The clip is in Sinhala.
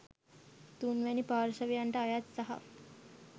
තුන්වැනි පාර්ශවයන්ට අයත් සහ